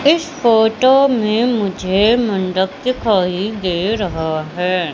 इस फोटो में मुझे मंडप दिखाई दे रहा है।